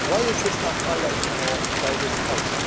Why is this not highlighted more by this House?